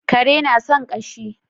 Kare na san ƙashi